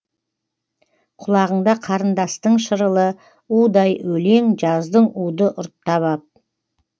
құлағыңда қарындастың шырылы удай өлең жаздың уды ұрттап ап